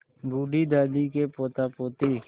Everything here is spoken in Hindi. बूढ़ी दादी के पोतापोती